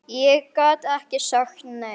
Ég gat ekki sagt nei.